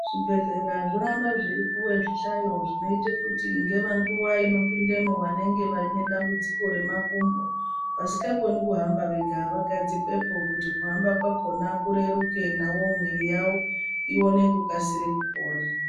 Zvibhedhlera zvoramba zveipuwa zvihlayo zvinoita kuti ingava nguwa yekuti vanopindamwo vanenge vaine dambudziko remakumbo. Vasingakoni kuhamba vega vagadzikwepo kuti kuhamba kwakona kureruke. Navowo mwiri yawo ione kukasira kupora.